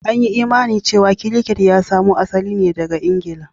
An yi imanin cewa Cricket ya samo asali ne daga Ingila